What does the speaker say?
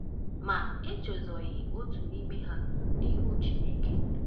Ma e chezọghị otu n'ime ha n'ihu Chineke....